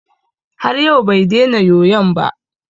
Har yau bai dena yoyon ba.